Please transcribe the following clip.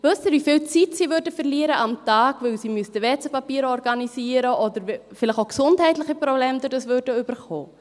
Wissen Sie, wie viel Zeit pro Tag sie verlieren würden, weil sie WC-Papier organisieren müssten oder vielleicht auch gesundheitliche Probleme dadurch bekämen?